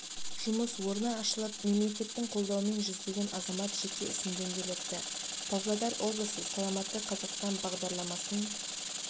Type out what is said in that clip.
жұмыс орны ашылып мемлекеттің қолдауымен жүздеген азамат жеке ісін дөңгелетті павлодар облысы саламатты қазақстан бағдарламасын